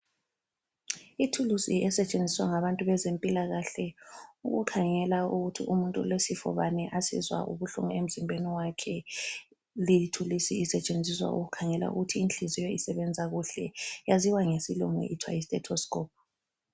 Ithuluzi esetshenziswa ngabantu bezempilakahle ukukhangela ukuthi umuntu ulesifo bani asizwa ubuhlungu emzimbeni wakhe, leyi ithuluzi isetshenziswa ukukhangela ukuthi inhliziyo ukuthi isebenza kuhle, yaziwa ngesilungu kuthwa yi stethescope.